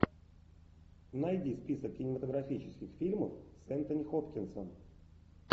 найди список кинематографических фильмов с энтони хопкинсом